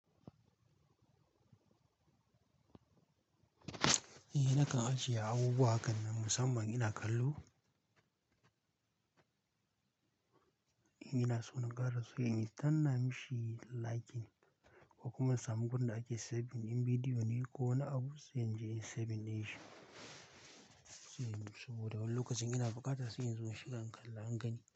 Eh nakan ajiye abubuwa hakan na musamman ina kallo, ina so na ga ra sai in danna mishi liking, ko kuma in samu gurin da ake saving ɗin bidiyo ne ko wani abu sai in je in saving ɗinshi. Toh, saboda wani lokacin ina buƙata sai in zo in shiga in kalla in gani.